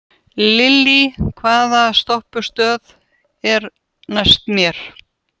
Lillý, hvaða stoppistöð er næst mér?